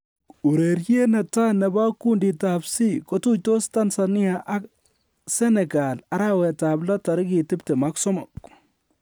"Ureriet ne tai nebo kunditab C, kotuitos Tanzania ak Senegal arawet ab lo tarigit 23."